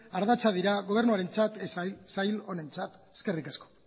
ardatzak dira gobernuarentzat sail honentzat eskerrik asko